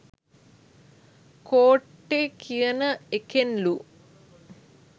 කෝට්ටෙ කියන එකෙන් ලු.